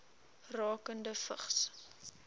rakende vigs